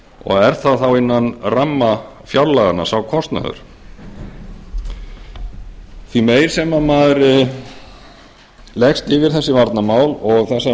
og er sá kostnaður þá innan ramma fjárlaganna því meir sem maður leggst yfir þessi varnarmál og